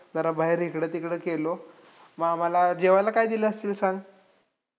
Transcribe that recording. जरा बाहेर इकडं-तिकडं केलो. मग आम्हाला जेवायला काय दिलं असंल सांग?